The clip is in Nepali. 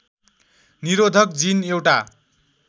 निरोधक जिन एउटा